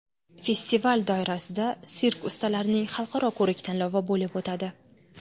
Festival doirasida sirk ustalarining Xalqaro ko‘rik-tanlovi bo‘lib o‘tadi.